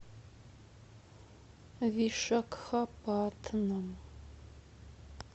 вишакхапатнам